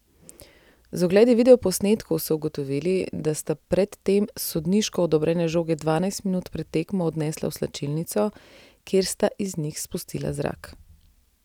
Z ogledi videoposnetkov so ugotovili, da sta pred tem sodniško odobrene žoge dvajset minut pred tekmo odnesla v slačilnico, kjer sta iz njih spustila zrak.